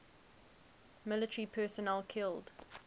military personnel killed